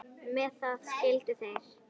Með það skildu þeir.